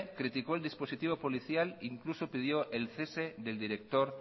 criticó el dispositivo policial incluso pidió el cese del director